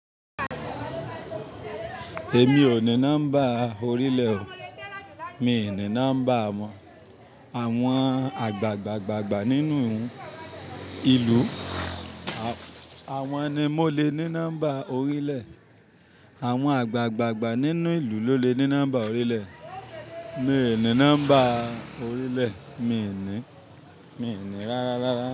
Èmi ò ní nọ́mbà orílẹ̀ o. Mi ò ní nọ́mbà mọ̀. Àwọn àgbàgbà nínú ìlú, àwọn ni mo le ní nọ́mbà orílẹ̀. Àwọn àgbàgbà nínú ìlú ló lè ní nọ́mbà orílẹ̀. Mi ò ní nọ́mbà orílẹ̀, mi ò ní, mi ò ní rárá.